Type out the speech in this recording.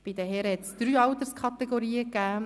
Bei den Herren hat es drei Alterskategorien gegeben: